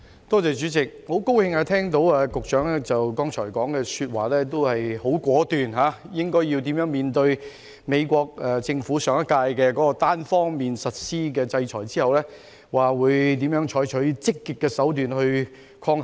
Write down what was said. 代理主席，很高興聽到局長剛才的回應十分果斷，指出怎樣面對上屆美國政府單方面實施的制裁，以及怎樣採取積極的手段抗衡。